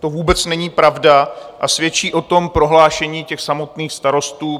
To vůbec není pravda a svědčí o tom prohlášení těch samotných starostů.